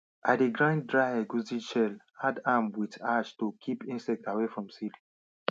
i dey grind dry egusi shell add am wit ash to kip insects away from seed